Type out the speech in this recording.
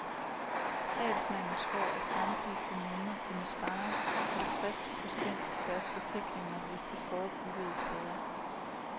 Talsmanden tror, at samtlige kommuner kunne spare halvtreds procent på deres forsikringer, hvis de forebyggede skader.